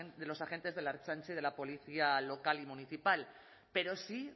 de los agentes de la ertzaintza y de la policía local y municipal pero sí